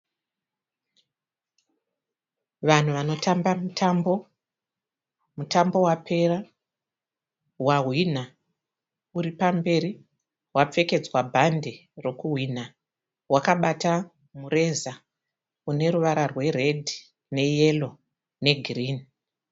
Vanhu vanotamba mutambo. Mutambo wapera wahwina uri pamberi. Wapfekedzwa bhande rokuhwina. Wakabata mureza une ruvara rweredhi neyero negirinhi.